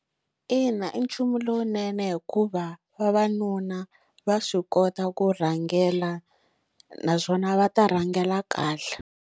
Ina i nchumu lowunene hikuva vavanuna va swi kota ku rhangela naswona va ta rhangela kahle.